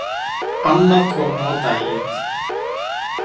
Annað kom nú á daginn.